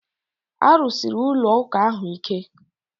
A rụsiri ụlọ ụka ahụ ike